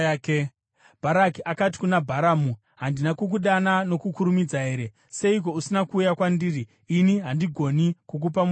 Bharaki akati kuna Bharamu, “Handina kukudana nokukurumidza here? Seiko usina kuuya kwandiri? Ini handigoni kukupa mubayiro here?”